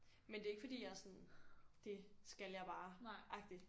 Men det er ikke fordi jeg er sådan det skal jeg bare agtigt